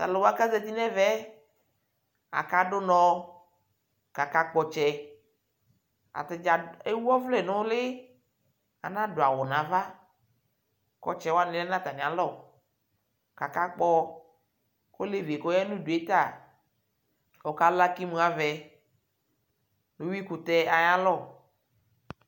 Tʋ alʋ wa kʋ azati nʋ ɛmɛ yɛ Akadʋ ʋnɔ kʋ akakpɔ ɔtsɛ Ata dza ewu ɔvlɛ nʋ ʋlɩ, anadʋ awʋ nʋ ava Kʋ ɔtsɛ wanɩ lɛ nʋ atamɩalɔ kʋ akakpɔ Olevi yɛ kʋ ɔya nʋ udu yɛ ta, ɔkala kʋ imuavɛ nʋ uyuikʋtɛ ayalɔ